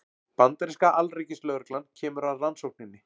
Bandaríska alríkislögreglan kemur að rannsókninni